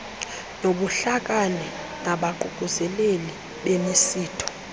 nobuhlakani nabaququzeleli bemisitho